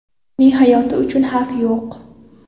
Uning hayoti uchun xavf yo‘q.